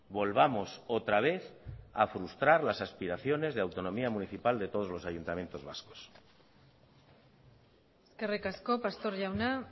volvamos otra vez a frustrar las aspiraciones de autonomía municipal de todos los ayuntamientos vascos eskerrik asko pastor jauna